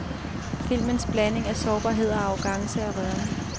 Filmens blanding af sårbarhed og arrogance er rørende.